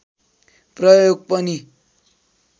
प्रयोग पनि